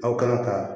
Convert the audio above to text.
Aw kana ka